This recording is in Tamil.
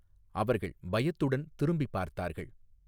அவர்கள் பயத்துடன் திரும்பிப் பார்த்தார்கள்.